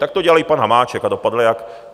Tak to dělal i pan Hamáček a dopadl jak?